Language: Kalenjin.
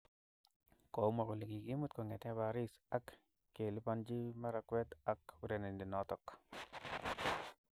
Komwa kole kikimut kongete Paris ak kelipanji makawet ak urerenindet noto.